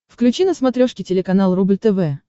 включи на смотрешке телеканал рубль тв